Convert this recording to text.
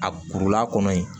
A kurula kɔnɔ ye